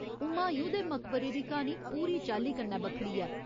हुमायूँ दे मकबरे दी क्हानी पूरी चाल्ली कन्नै बक्खरी ऐ।